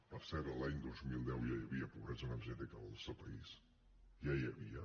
per cert l’any dos mil deu ja hi havia pobresa energètica al nostre país ja n’hi havia